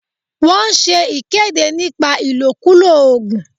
Wọ́n ṣe ìkéde nípa ìkòkulò ògùn